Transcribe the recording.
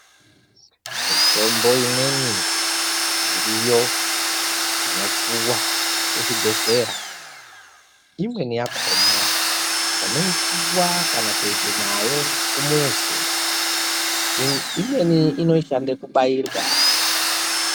Mitombo imweni iriyo inopuwa kuzvibhehlera imweni yakona unoipuwa kana kuenda nayo kumuzi. Imweni inoshanda kubairwa.